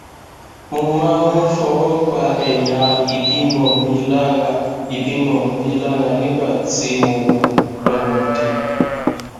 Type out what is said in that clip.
mo máa ń fọwọ pa ẹyà ìbímọ mi lára ìbímọ mi lára nígbà tí mo wà lọmọdé